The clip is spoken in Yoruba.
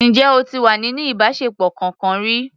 Ǹjẹ́ o ti wà nínú ìbáṣepọ̀ kọkan rí?